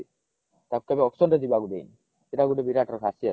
ତାକୁ କେବେ auction ରେ ଯିବାକୁ ଦେଇନି ସେଇଟା ଗୋଟେ ବିରାଟ ର ଖାସିୟତ